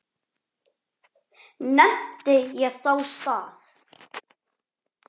Nefndi ég þá stað.